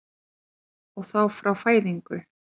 Og þá frá fæðingu?